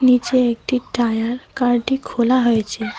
নীচে একটি টায়ার কারটি খোলা হয়েছে।